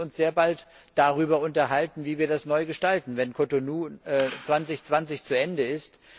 Denn wir müssen uns sehr bald darüber unterhalten, wie wir das neu gestalten, wenn Cotonou 2020 zu Ende ist.